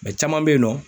caman bɛ yen nɔ